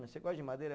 Você gosta de madeira?